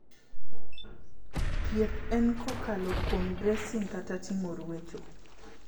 Tieth en kokalo kuom bracing kata timo ruecho